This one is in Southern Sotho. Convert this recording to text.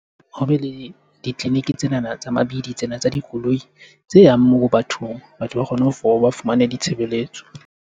Hobe le ditleliniki tsenana tsa mabidi tsena tsa dikoloi tse yang moo bathong. Batho ba kgone ho ba fumane ditshebeletso.